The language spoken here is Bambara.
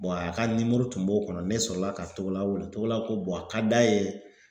a ka nimoro tun b'o kɔnɔ ne sɔrɔla ka Togola wele Togola ko a ka d'a ye